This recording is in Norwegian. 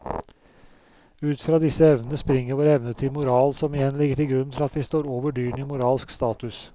Ut fra disse evnene springer vår evne til moral som igjen ligger til grunn for at vi står over dyrene i moralsk status.